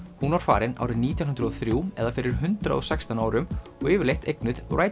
hún var farin árið nítján hundruð og þrjú eða fyrir hundrað og sextán árum og yfirleitt eignuð